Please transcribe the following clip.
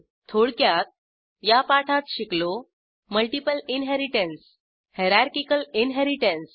थोडक्यात या पाठात शिकलो मल्टिपल इनहेरिटन्स हायरार्किकल इनहेरिटन्स